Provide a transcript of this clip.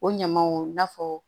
O ɲamaw i n'a fɔ